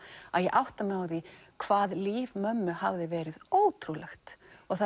að ég átta mig á því hvað líf mömmu hafði verið ótrúlegt og það